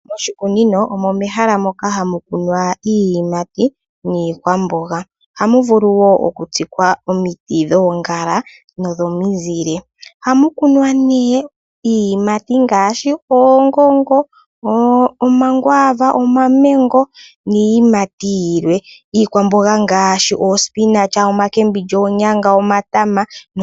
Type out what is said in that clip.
Moshikunino omo mehala moka hamu kunwa iiyimati niikwamboga ohamu vulu wo okutsikwa omiti dhoongala nodhomizile ohakunwa nee iiyimati ngaashi oongongo ,omangwaava, omamengo niiyimati yilwe .Iikwamboga ngaashi oospinach, oonyanga nomatama.